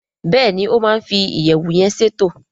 Béèni o ma fi iyẹwu yén ṣètò.